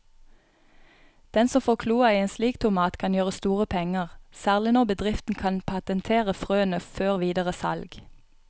Den som får kloa i en slik tomat kan gjøre store penger, særlig når bedriften kan patentere frøene før videre salg.